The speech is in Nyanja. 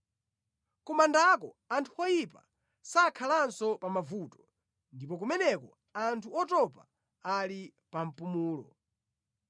Ku mandako anthu oyipa sakhalanso pa mavuto, ndipo kumeneko anthu otopa ali pa mpumulo.